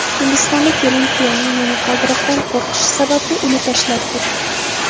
Hindistonda kelin kuyovning momaqaldiroqdan qo‘rqishi sababli uni tashlab ketdi.